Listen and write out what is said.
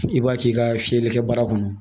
I b'a k'i ka fiyɛlikɛ baara kɔnɔ